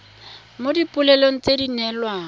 mo dipoelong tse di neelwang